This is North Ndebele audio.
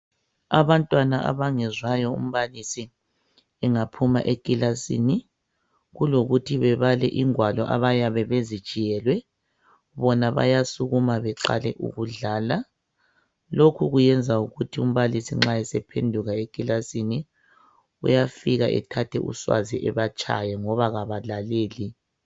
Abantwana abangezwayo umbalisi engaphuma ekilasini kulokuthi bebale ingwalo abayabe bezitshiyelwe bona bayasukuma beqale ukudlala, lokhu kuyenza ukuthi nxa umbalisi esephenduka ekilasini uyafika ethathe uswazi ebatshaye ngoba bengalaleli.